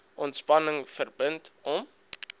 ontspanning verbind hom